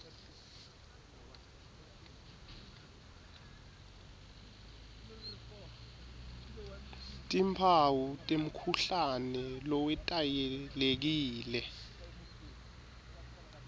timphawu temkhuhlane lowetayelekile